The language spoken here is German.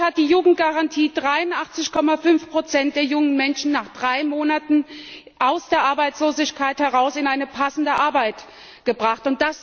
Dort hat die Jugendgarantie 83,5 der jungen Menschen nach drei Monaten aus der Arbeitslosigkeit heraus in eine passende Arbeit gebracht.